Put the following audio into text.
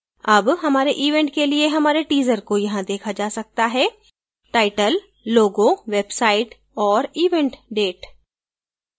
अब हमारे event के लिए हमारे teaser को यहाँ देखा जा सकता हैtitle logo website और event date